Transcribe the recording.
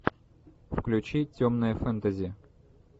включи темное фэнтези